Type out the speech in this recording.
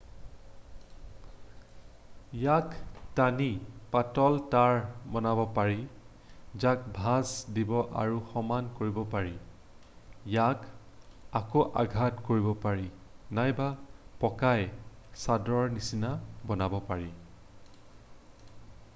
ইয়াক টানি পাতল তাঁৰ বনাব পাৰি যাক ভাঁজ দিব আৰু সমান কৰিব পাৰি ইয়াক আকৌ আঘাত কৰিব পাৰি নাইবা পকাই চাদৰৰ নিচিনা বনাব পাৰি